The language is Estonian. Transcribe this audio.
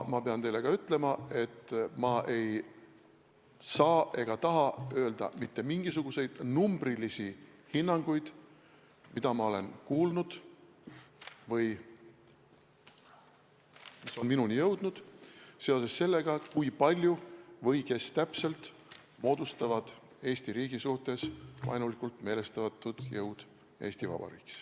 Aga ma ei saa ega taha öelda mitte mingisuguseid numbrilisi hinnanguid, mida ma olen kuulnud või mis on minuni jõudnud selle kohta, kui palju või kes täpselt moodustavad meie riigi suhtes vaenulikult meelestatud jõud Eesti Vabariigis.